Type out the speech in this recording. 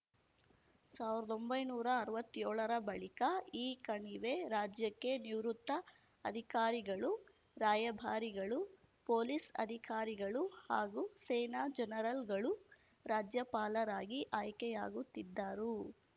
ಸಾವ್ರದೊಂಬೈನೂರಾ ಅರ್ವತ್ಯೋಳರ ಬಳಿಕ ಈ ಕಣಿವೆ ರಾಜ್ಯಕ್ಕೆ ನಿವೃತ್ತ ಅಧಿಕಾರಿಗಳು ರಾಯಭಾರಿಗಳು ಪೊಲೀಸ್‌ ಅಧಿಕಾರಿಗಳು ಹಾಗೂ ಸೇನಾ ಜನರಲ್‌ಗಳು ರಾಜ್ಯಪಾಲರಾಗಿ ಆಯ್ಕೆಯಾಗುತ್ತಿದ್ದರು